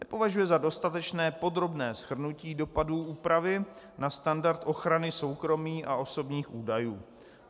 Nepovažuje za dostatečné podrobné shrnutí dopadů úpravy na standard ochrany soukromí a osobních údajů.